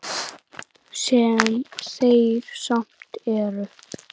Sem þeir samt eru.